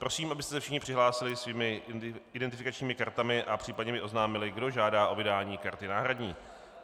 Prosím, abyste se všichni přihlásili svými identifikačními kartami a případně mi oznámili, kdo žádá o vydání karty náhradní.